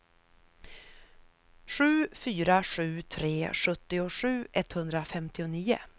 sju fyra sju tre sjuttiosju etthundrafemtionio